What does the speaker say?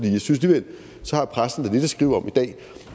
så har pressen lidt at skrive om i dag